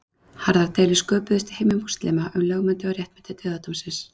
Harðar deilur sköpuðust í heimi múslíma um lögmæti og réttmæti dauðadómsins.